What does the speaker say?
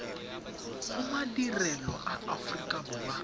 gomadirelo a aforika borwa a